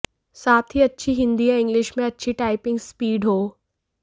साथ ही अच्छी हिंदी या इंग्लिश में अच्छी टाइपिंग स्पीड हो